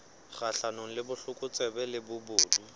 kgahlanong le botlokotsebe le bobodu